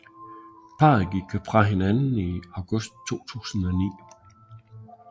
Parret gik fra hinanden i august 2009